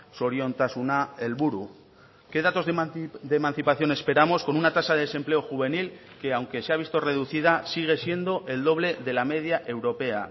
zoriontasuna helburu qué datos de emancipación esperamos con una tasa de desempleo juvenil que aunque se ha visto reducida sigue siendo el doble de la media europea